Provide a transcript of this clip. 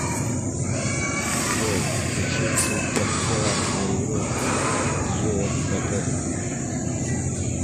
джой включи ты подсела на игру джиэспэдэ